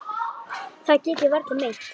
Það get ég varla meint.